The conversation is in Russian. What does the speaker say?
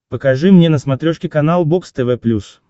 покажи мне на смотрешке канал бокс тв плюс